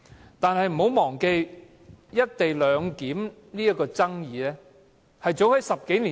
然而，不要忘記，"一地兩檢"的爭議始於10多年前。